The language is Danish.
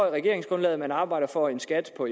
i regeringsgrundlaget at man arbejder for en skat på